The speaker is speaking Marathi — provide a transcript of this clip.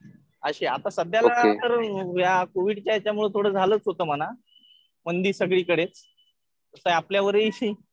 असं आता सध्याला तर कोविडच्या ह्यच्यामुळं थोडं झालंच होतं म्हणा. मंदी सगळीकडेच. कसं आहे आपल्यावरही